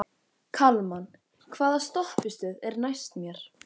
Kalman, hvaða stoppistöð er næst mér?